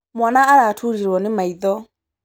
Mwana araturirwo nĩmaitho.